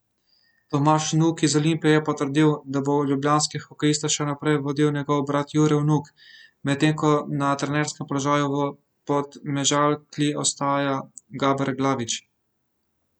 Tomaž Vnuk iz Olimpije je potrdil, da bo ljubljanske hokejiste še naprej vodil njegov brat Jure Vnuk, medtem ko na trenerskem položaju v Podmežakli ostaja Gaber Glavič.